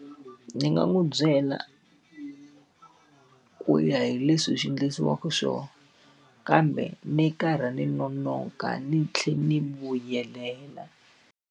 Ni nga n'wi byela, ku ya hi leswi hi swi endlisiwaka swona. Kambe ni karhi ni nonoka ni tlhela ni vuyelela.